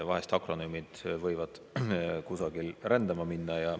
Vahel akronüümid võivad kuidagi nagu rändama minna.